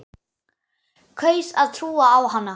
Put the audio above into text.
Kaus að trúa á hana.